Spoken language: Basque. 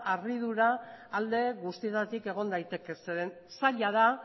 harridura alde guztietatik egon daiteke zeren zaila da